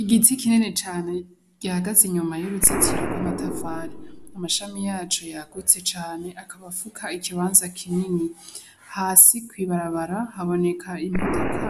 Igiti kinini cane gihagaze inyuma y'uruzitiro rw'amatafari amashami yaco yakuze cane akaba afuka ikibanza kinini hasi ku ibarabara haboneka imodoka